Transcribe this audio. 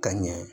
Ka ɲɛ